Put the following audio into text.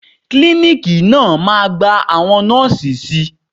Klíníkì náà máa gba àwọn Nọ́ọ̀sì si.